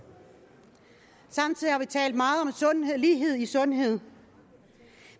samtidig har vi talt meget om lighed i sundhed